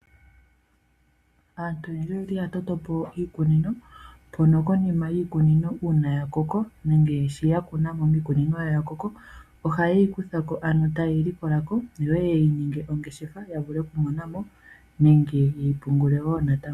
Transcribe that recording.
Aantu oyendji oyeli ya toto po iikunino mpono konima yiikunino uuna ya koko nenge sho ya kuna mo miikunino yawo ya koko, ohaye yi kutha ko ano taye yi likola ko yo yeye ninge ongeshefa ya vule okumona mo nenge yeyi pungule wo natango.